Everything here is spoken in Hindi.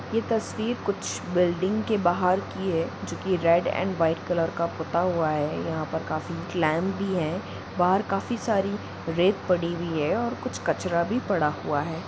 यह तस्वीर कुछ बिल्डिंग की बहार की है जो की रेड एंड वाइ कलर का पुत्ता हुआ है यहाँ पर काफी ग्लैम बी है बहार काफी सारे रेत पड़ी हुई है और कुछ कचरा बी पड़ा हुआ है।